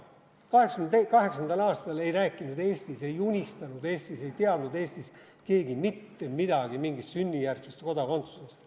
1988. aastal ei rääkinud Eestis, ei unistanud Eestis, ei teadnud Eestis keegi mitte midagi mingist sünnijärgsest kodakondsusest.